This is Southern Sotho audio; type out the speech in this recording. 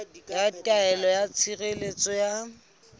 ya taelo ya tshireletso ya